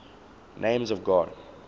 names of god